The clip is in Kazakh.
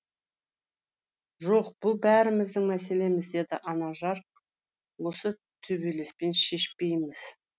жоқ бұл бәріміздің мәселеміз деді анажар оны төбелеспен шешпейміз